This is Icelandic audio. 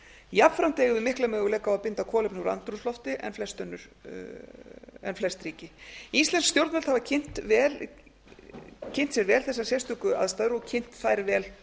jafnframt eigum við mikla möguleika á að binda kolefni úr andrúmslofti en flest ríki íslensk stjórnvöld hafa kynnt sér vel þessar sérstöku aðstæður og kynnt þær vel